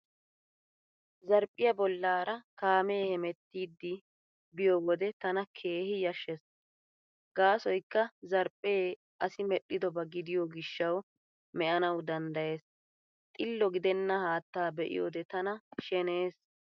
Zarphphiyaa bollaara kaamee hemettiidi be'iyo wode tana keehi yashshees gaasoykka zarphphee asi medhdhidoba gidiyo gishshawu me'anawu danddayees. Xillo gidenna haattaa be'iyoode tana sheneyees.